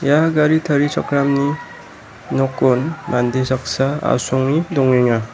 ia gari tarichakramni nokon mande saksa asonge dongenga.